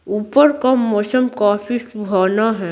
ऊपर का मौसम काफी सुहाना है।